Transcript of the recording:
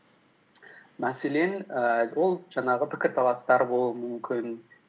мәселен ііі ол жаңағы пікірталастар болуы мүмкін